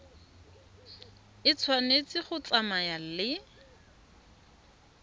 e tshwanetse go tsamaya le